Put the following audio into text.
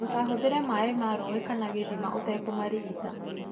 Ndũkahũthĩre maĩ ma rũĩ kana gĩthma ũtakũmarigita.